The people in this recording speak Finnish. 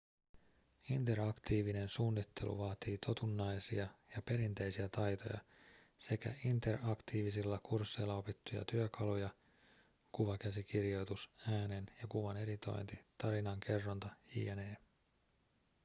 interaktiivinen suunnittelu vaatii totunnaisia ja perinteisiä taitoja sekä interaktiivisilla kursseilla opittuja työkaluja kuvakäsikirjoitus äänen ja kuvan editointi tarinankerronta jne.